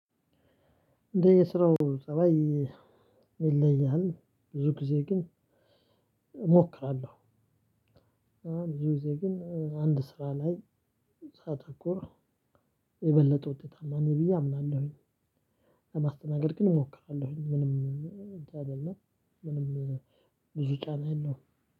እንደየስራው ፀባይ ይለያል ብዙ ጊዜ ግን እሞክራለሁ ብዙ ጊዜ ግን አንድ ስራ ላይ ሳተኮር የበለጠ ውጤታማ ነኝ ብዬ አምናለሁኝ። ለማስተናገድ ግን እሞክራለሁኝ ምንም እንትን አይደለም ምንም ብዙ ጫና የለውም።